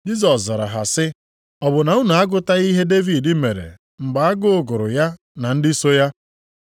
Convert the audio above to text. Jisọs zara ha sị, “Ọ bụ na unu agụtaghị ihe Devid mere mgbe agụụ gụrụ ya na ndị so ya?